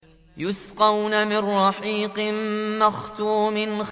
يُسْقَوْنَ مِن رَّحِيقٍ مَّخْتُومٍ